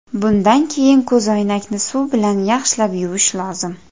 Bundan keyin ko‘zoynakni suv bilan yaxshilab yuvish lozim.